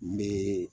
N bɛ